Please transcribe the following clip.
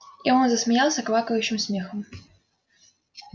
и он засмеялся квакающим смехом